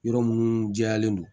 Yɔrɔ minnu jɛyalen don